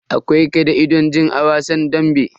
Akwai ka'idojin a wasan dambe.